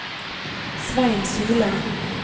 Svein Solem